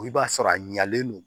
I b'a sɔrɔ a ɲɛlen don